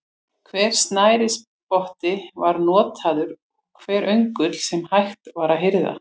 Hver snærisspotti var notaður og hver öngull sem hægt var að hirða.